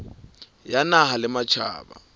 ya naha le ya matjhaba